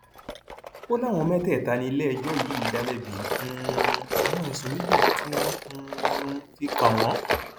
ó láwọn mẹtẹẹta níléẹjọ yìí dá lẹbi um àwọn ẹsùn méjìlá tí wọn um fi kàn wọn